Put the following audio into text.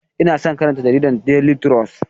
Ina son karanta jaridar Daily trust.